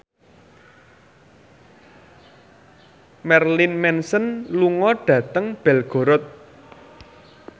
Marilyn Manson lunga dhateng Belgorod